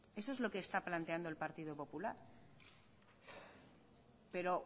eso es lo que está planteando el partido popular pero